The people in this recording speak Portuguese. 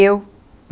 Eu.